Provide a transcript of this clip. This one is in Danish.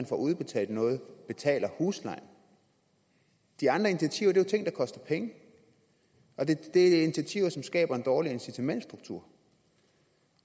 forudbetalt noget betaler huslejen de andre initiativer er jo ting der koster penge og det er initiativer som skaber en dårligere incitamentsstruktur